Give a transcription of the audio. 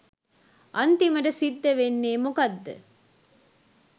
අන්තිමට සිද්ධ වෙන්නේ මොකද්ද